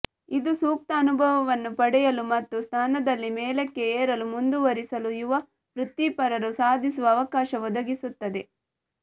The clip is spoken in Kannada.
ಇದು ಸೂಕ್ತ ಅನುಭವವನ್ನು ಪಡೆಯಲು ಮತ್ತು ಸ್ಥಾನದಲ್ಲಿ ಮೇಲಕ್ಕೆ ಏರಲು ಮುಂದುವರಿಸಲು ಯುವ ವೃತ್ತಿಪರರು ಸಾಧಿಸುವ ಅವಕಾಶ ಒದಗಿಸುತ್ತದೆ